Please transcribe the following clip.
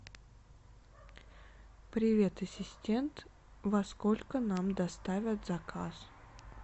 привет ассистент во сколько нам доставят заказ